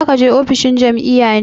Za ka je ofishin jam'iyya ne?